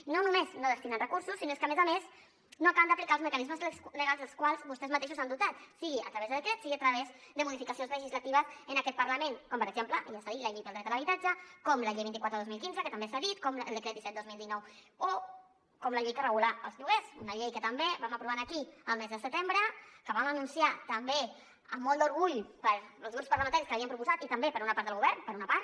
i no només no destinant recursos sinó que a més a més no acaben d’aplicar els mecanismes legals dels quals vostès mateixos s’han dotat sigui a través de decret sigui a través de modificacions legislatives en aquest parlament com per exemple i ja s’ha dit la llei pel dret a l’habitatge com la llei vint quatre dos mil quinze que també s’ha dit com el decret disset dos mil dinou o com la llei que regula els lloguers una llei que també vam aprovar aquí el mes de setembre que vam anunciar també amb molt d’orgull els grups parlamentaris que l’havíem proposat i també per una part del govern per una part